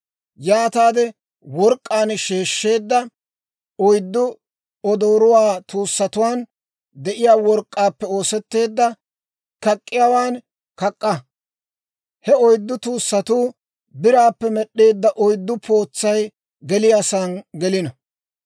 Yaataade work'k'aan sheeshsheedda oyddu, odooruwaa tuussatuwaan de'iyaa work'k'aappe oosetteedda kak'k'iyaawaan kak'k'a. He oyddu tuussatuu biraappe med'd'eedda oyddu pootsay geliyaasaan gelino.